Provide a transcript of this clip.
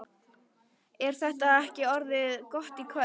Er þetta ekki orðið gott í kvöld?